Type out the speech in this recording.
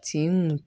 Sen